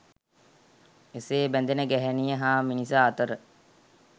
එසේ බැඳෙන ගැහැණිය හා මිනිසා අතර